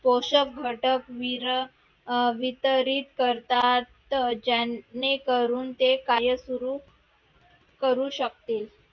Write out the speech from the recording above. पोषक घटक विर अं वितरित करतात ते जेणेकरून कामयस्वरूप करू शकतील